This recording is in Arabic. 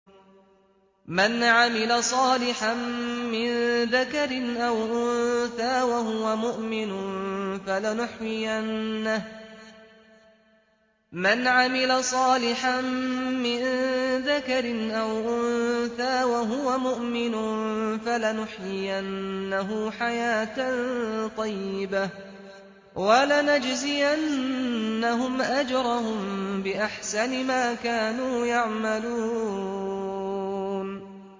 مَنْ عَمِلَ صَالِحًا مِّن ذَكَرٍ أَوْ أُنثَىٰ وَهُوَ مُؤْمِنٌ فَلَنُحْيِيَنَّهُ حَيَاةً طَيِّبَةً ۖ وَلَنَجْزِيَنَّهُمْ أَجْرَهُم بِأَحْسَنِ مَا كَانُوا يَعْمَلُونَ